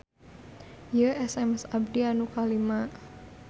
Ieu SMS abdi nu kalima